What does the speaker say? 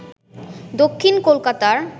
দক্ষিণ কলকাতার